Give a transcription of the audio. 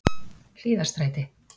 Hlíðarstræti